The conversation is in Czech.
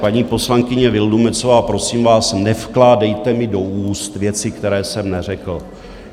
Paní poslankyně Vildumetzová, prosím vás, nevkládejte mi do úst věci, které jsem neřekl.